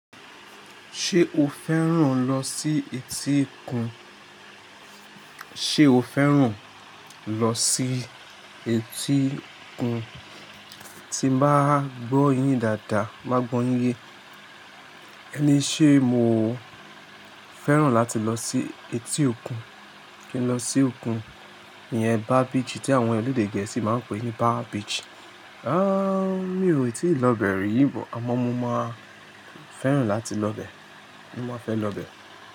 Ṣé o fẹ́ràn lọ sí etí òkun? Sé o fẹ́ràn lọ sí etí kun? Tí mo bá gbọ́ yín dáadáa, bá gbọ́n yín yé. Ẹní ṣe mo fẹ́ràn láti lọ sí etí òkun? Tí ń lọ sí òkun, iyẹn Bar Beach tí àwọn elédè Gẹ̀ẹ́sì máa ń pè ní Bar Beach. Áààà mi ò tíì lọ bẹ̀ rí bọ, àmọ́ mo máa fẹ́ràn láti lọ bẹ̀, mo máa fẹ́ lọ bẹ̀